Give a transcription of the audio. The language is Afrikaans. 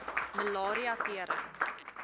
malaria tering